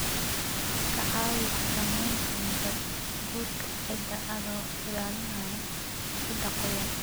Ka caawi xakameynta nabaadguurka ciidda adoo ilaalinaya ciidda qoyan.